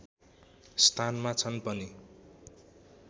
स्थानमा छन् पनि